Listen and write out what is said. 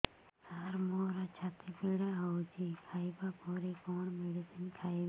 ସାର ମୋର ଛାତି ପୀଡା ହଉଚି ଖାଇବା ପରେ କଣ ମେଡିସିନ ଖାଇବି